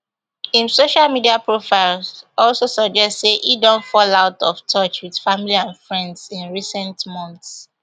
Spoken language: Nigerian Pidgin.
im social media profiles also suggest say e don fall out of touch with family and friends in recent months